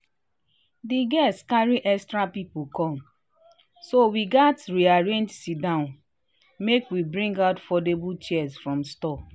di guests carry extra people come so we gatz rearrange sit-down make we bring out foldable chairs from store